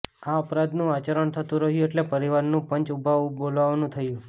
આ અપરાધનું આચરણ થતું રહ્યું એટલે પરિવારનું પંચ ઊભાઊભ બોલાવવાનું થયું